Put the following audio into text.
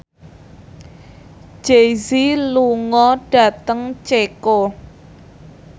Jay Z lunga dhateng Ceko